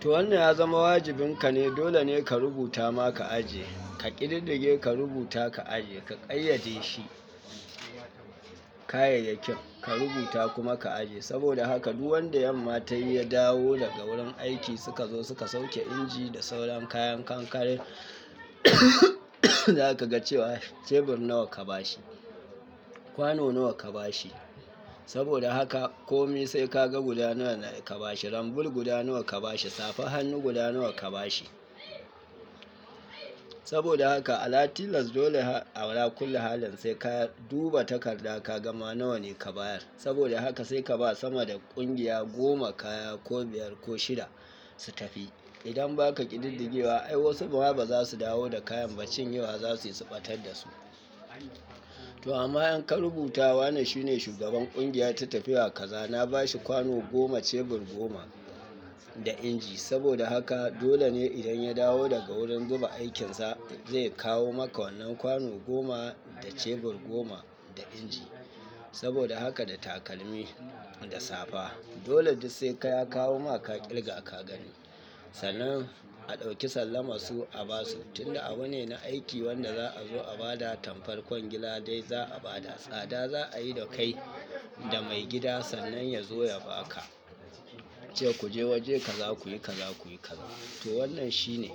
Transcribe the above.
To wannan ya zama wajibinka ne. Dole ne ka rubuta ma ka ajiye, ka ƙididdige ka rubuta ka ajiye. Ka ƙayyade shi, kayayyakin ka rubuta kuma ka ajiye. Saboda haka, duk wanda yamma ta yi ya dawo daga wurin aiki suka zo suka sauke inji da sauran kayan kankare za ka ga cewa cebur nawa ka bashi, kwano nawa ka bashi. Saboda haka, kome sai ka ga guda nawa na ka bashi. Rambur guda nawa ka bashi, safa hannu guda nawa ka bashi. Saboda haka, a la tilas dole ala kulli halin sai ka duba takarda ka gama nawa ne ka bayar. Saboda haka, sai ka ba sama da ƙungiya goma kaya ko biyar ko shida su tafi. Idan ba ka ƙididdigewa ai wasu ma ba za su dawo da kayan ba, cin yewa za su yi su ɓatar da su. To amma in ka rubuta wa ne, shi ne shugaban ƙungiyar ta tafiya kaza. Na ba shi kwano goma, cebur goma da inji. Saboda haka, dole ne idan ya dawo daga wurin zuba aikinsa zai kawo maka wannan kwano goma da cebur goma da inji. Saboda haka, da takalmi da safa. Dole duk sai ka ya kawo maka ka ƙirga ka gani. Sannan a ɗauki sallama su a ba su. Tunda abu ne na aiki wanda za a zo a ba da tamkar kwangila dai za a ba da tsada. Za a yi da kai da mai gida sannan ya zo ya ba ka, ce ku je waje kaza ku yi kaza, ku yi kaza. To wannan shi ne.